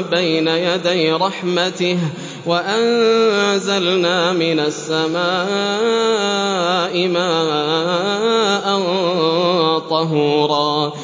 بَيْنَ يَدَيْ رَحْمَتِهِ ۚ وَأَنزَلْنَا مِنَ السَّمَاءِ مَاءً طَهُورًا